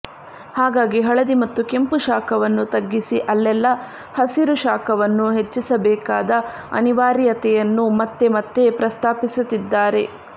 ಹಾಗಾಗಿ ಹಳದಿ ಮತ್ತು ಕೆಂಪು ಶಾಖವನ್ನು ತಗ್ಗಿಸಿ ಅಲ್ಲೆಲ್ಲ ಹಸಿರು ಶಾಖವನ್ನು ಹೆಚ್ಚಿಸಬೇಕಾದ ಅನಿವಾರ್ಯತೆಯನ್ನು ಮತ್ತೆ ಮತ್ತೆ ಪ್ರಸ್ತಾಪಿಸುತ್ತಿದ್ದಾರೆ